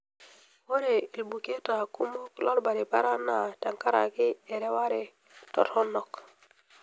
Ore ilbuketa kumok lolbaribara naa tenkaraki ereware toronok.